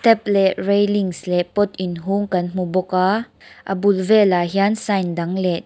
tap leh railings leh pot inhung kan hmu bawk a a bul vel ah hian sign dang leh--